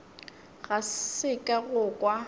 ga se ka go kwa